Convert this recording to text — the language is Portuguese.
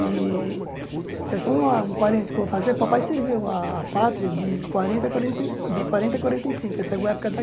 E é só uma um parênteses que eu vou fazer, papai serviu a a pátria de quarenta a quarenta e de quarenta a quarenta e cinco, ele pegou a época da